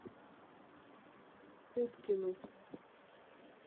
уткину